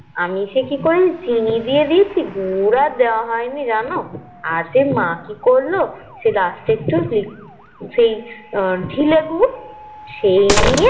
আমি সেই কি করেছি চিনি দিয়ে দিয়েছি গুড় আর দেয়া হয়নি জানো আর সে মা কি করলো Last এ সেই একটু সেই ঢিলে গুড় সেই দিয়ে